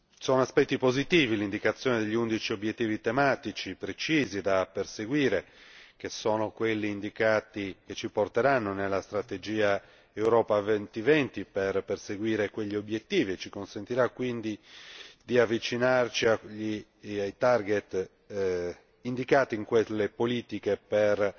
Sono aspetti positivi l'indicazione degli undici obiettivi tematici precisi da perseguire, che sono quelli indicati per il conseguimento della strategia Europa 2020 per perseguire quegli obiettivi e ci consentirà quindi di avvicinarci ai indicati in quelle politiche per